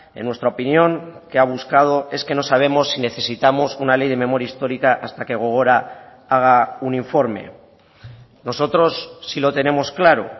en nuestra opinión que ha buscado es que no sabemos si necesitamos una ley de memoria histórica hasta que gogora haga un informe nosotros sí lo tenemos claro